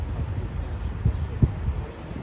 Çox sağ olun, Allah razı olsun.